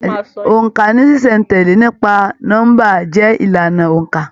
Óńka ní ṣiṣẹ̀-n-tẹle nípa nọmba jẹ ìlànà óńka.